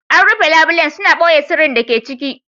An rufe labulen, suna ɓoye sirrin da ke ciki.